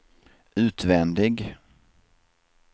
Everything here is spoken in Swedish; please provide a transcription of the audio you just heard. utvändig